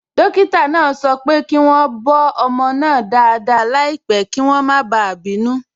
Dókítà náà sọ pé kí wọ́n bọ́ ọmọ náà dáadáa láìpẹ́ kí wọ́n má bàa bínú.